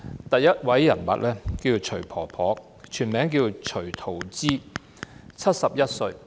第一個人物是徐婆婆，她全名徐桃枝 ，71 歲。